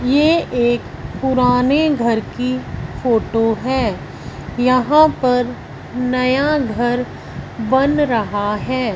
ये एक पुराने घर की फोटो है यहां पर नया घर बन रहा है।